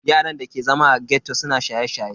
Yaran da ke zama a ghetto suna shaye-shaye.